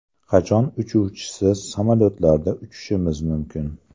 Qachon uchuvchisiz samolyotlarda uchishimiz mumkin?.